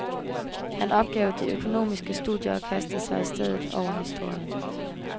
Han opgav de økonomiske studier og kastede sig i stedet over historien.